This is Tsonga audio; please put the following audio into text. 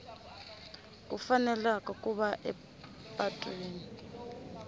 ku faneleka ku va epatwini